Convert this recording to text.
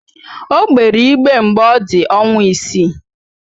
O gbere igbe mgbe ọ dị ọnwa isii